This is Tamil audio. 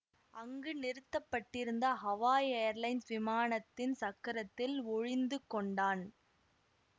அங்கு நிறுத்தப்பட்டிருந்த ஹவாய் ஏர்லைன்ஸ் விமானத்தின் சக்கரத்தில் ஒழிந்து கொண்டான்